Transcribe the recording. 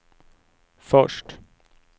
först